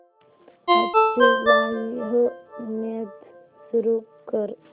आजची live match सुरू कर